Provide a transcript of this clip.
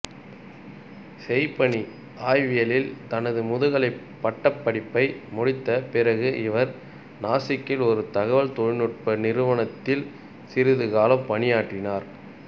செய்பணி ஆய்வியலில் தனது முதுகலை பட்டப்படிப்பை முடித்த பிறகு இவர் நாசிக்கில் ஒரு தகவல் தொழில்நுட்பநிறுவனத்தில் சிறிது காலம் பணியாற்றினார்